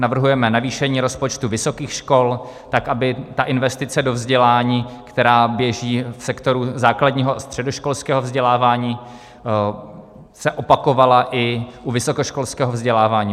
Navrhujeme navýšení rozpočtu vysokých škol tak, aby ta investice do vzdělání, která běží v sektoru základního a středoškolského vzdělávání, se opakovala i u vysokoškolského vzdělávání.